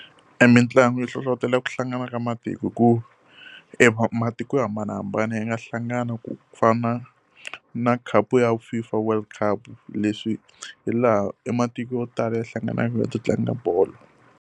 E mitlangu yi hlohletela ku hlangana ka matiko hikuva e matiko yo hambanahambana ya nga hlangana ku fana na khapu ya FIFA World Cup leswi hi laha e matiko yo tala ya hlanganaka ta ta tlanga bolo.